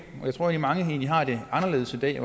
jeg tror egentlig at mange har det anderledes i dag